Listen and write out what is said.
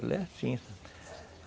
Ela é assim, sabe?